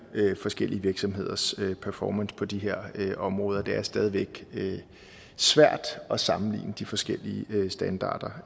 forskellige virksomheders performance på de her områder det er stadig væk svært at sammenligne de forskellige standarder